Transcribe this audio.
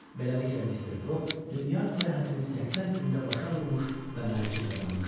Beləliklə, Mister Foq dünya səyahətini 80 gündə başa vurmuş və mərci qazanmışdı.